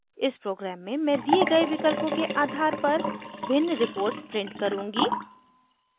इस प्रोग्राम में मैं दिए गए विकल्पों के आधार पर भिन्न रिपोर्ट्स प्रिंट करुँगी